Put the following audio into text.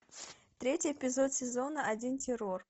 третий эпизод сезона один террор